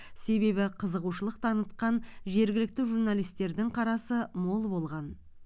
себебі қызығушылық танытқан жергілікті журналистердің қарасы мол болған